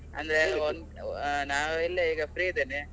ಅಂದ್ರೆ . ನಾವ್ ಇಲ್ಲೆ ಈಗ free ಇದ್ದೇನೆ.